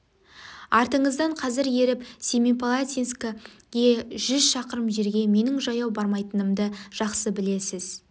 артыңыздан қазір еріп семипал атинскі ге жүз шақырым жерге менің жаяу бармайтынымды жақсы білесіз